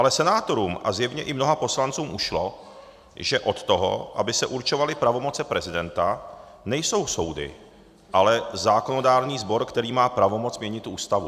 Ale senátorům a zjevně i mnoha poslancům ušlo, že od toho, aby se určovaly pravomoci prezidenta, nejsou soudy, ale zákonodárný sbor, který má pravomoc měnit Ústavu.